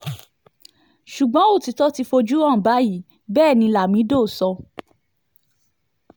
ṣùgbọ́n òtítọ́ ti fojú hàn báyìí bẹ́ẹ̀ ni lamido sọ